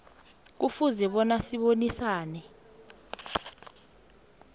kufuze bona abonisane